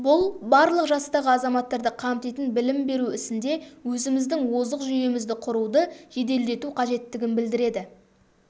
бұл барлық жастағы азаматтарды қамтитын білім беру ісінде өзіміздің озық жүйемізді құруды жеделдету қажеттігін білдіреді